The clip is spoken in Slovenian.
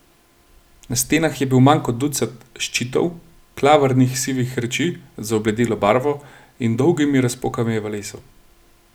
Na stenah je bil manj kot ducat ščitov, klavrnih sivih reči z obledelo barvo in dolgimi razpokami v lesu.